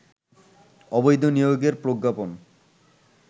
অবৈধ নিয়োগের প্রজ্ঞাপন